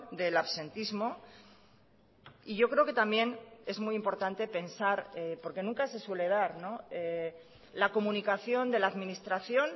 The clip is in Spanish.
del absentismo y yo creo que también es muy importante pensar porque nunca se suele dar la comunicación de la administración